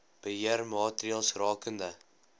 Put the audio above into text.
beheer maatreëls rakende